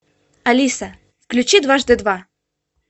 алиса включи дважды два